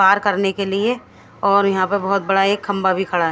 पार करने के लिए और यह पे बोहोत बड़ा एक खम्बा भी खड़ा है।